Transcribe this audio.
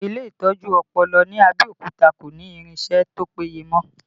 Ile itọju ọpọlọ ní Abẹ́òkúta kò ní irinsẹ́ tó péye mọ